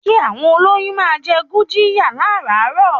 Kí àwọn olóyún máa jẹ gurjiya láràárò.